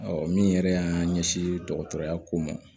min yɛrɛ y'an ɲɛsin dɔgɔtɔrɔya ko ma